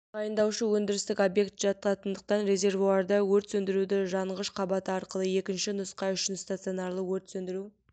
тағайындаушы өндірістік объект жататындықтан резервуарда өрт сөндіруді жанғыш қабаты арқылы екінші нұсқа үшін-стационарлы өрт сөндіру